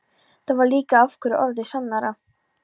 Það var líka hverju orði sannara.